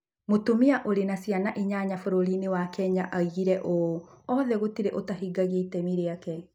Mũtumia ũrĩ na ciana inyanya bũrũri-inĩ wa Kenya oigire ũũ: “Othe gũtirĩ ũtahingagia itemi rĩake.”